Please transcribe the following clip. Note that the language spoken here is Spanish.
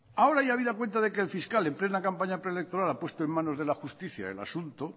ahora ya habida cuenta de que el fiscal en plena campaña preelectoral a puesto en manos de la justicia el asunto